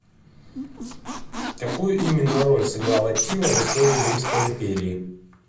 какую именно роль сыграл атилла в истории римской империи